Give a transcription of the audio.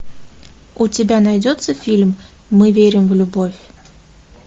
у тебя найдется фильм мы верим в любовь